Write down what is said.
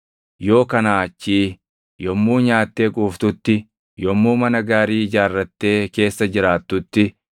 Yoo kanaa achii yommuu nyaattee quuftutti, yommuu mana gaarii ijaarrattee keessa jiraattutti,